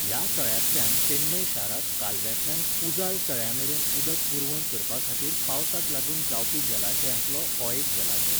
ह्या तळ्यांतल्यान चेन्नई शाराक कालव्यांतल्यान पुझाल तळ्यामेरेन उदक पुरवण करपाखातीर पावसाक लागून जावपी जलाशयांतलो हो एक जलाशय.